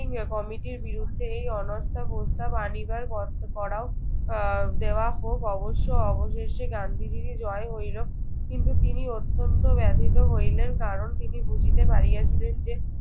কমিটির বিরুদ্ধে এই অনাস্থা প্রস্তাব আনিবার কষ্ট করাও আহ দেওয়া হোক। অবশ্য অবশেষে গান্ধীজিরই জয় হইল। কিন্তু তিনি অত্যন্ত ব্যথিত হইলেন। কারণ, তিনি বুঝিতে পারিয়াছিলেন যে